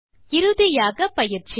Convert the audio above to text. இறுதியாக பயிற்சி